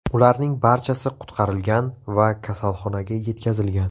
Ularning barchasi qutqarilgan va kasalxonaga yetkazilgan.